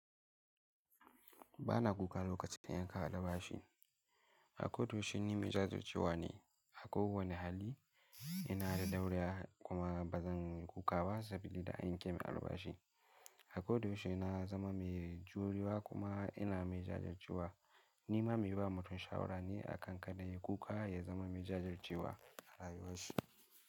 Bana kuka lokacin da an kai ni albashi. Hakko da wuce ni mai jajircewa ne. A kowane hali ina da dauriya kuma ba zan kuka ba saboda an yanke min albashi. Hakko da wuce na zama mai juriya kuma ina mai jajircewa. Ni ma mai ba mutum shawara ne a kan kada ya yi kuka ya zama mai jajircewa a rayuwarsa.